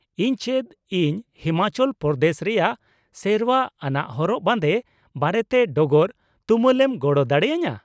ᱤᱧ ᱪᱮᱫ ᱤᱧ ᱦᱤᱢᱟᱪᱚᱞ ᱯᱨᱚᱫᱮᱥ ᱨᱮᱭᱟᱜ ᱥᱮᱨᱶᱟ ᱟᱱᱟᱜ ᱦᱚᱨᱚᱜ ᱵᱟᱸᱫᱮ ᱵᱟᱨᱮᱛᱮ ᱰᱚᱜᱚᱨ ᱛᱩᱢᱟᱹᱞ ᱮᱢ ᱜᱚᱲᱚ ᱫᱟᱲᱮ ᱟᱹᱧᱟᱹ ?